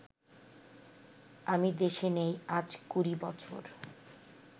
আমি দেশে নেই আজ কুড়ি বছর